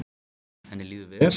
Henni líður vel?